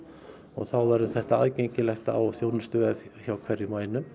þá verður þetta aðgengilegt á þjónustuvef hjá hverjum og einum